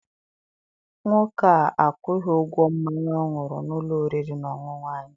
Nwoke a akwụghi ụgwọ mmanya ọ ṅụrụ n'ụlọ oriri na ọṅụṅụ anyị.